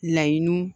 Laɲiniw